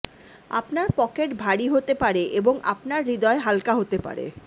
আপনার পকেট ভারী হতে পারে এবং আপনার হৃদয় হালকা হতে পারে